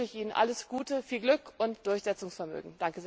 Deswegen wünsche ich Ihnen alles Gute, viel Glück und Durchsetzungsvermögen!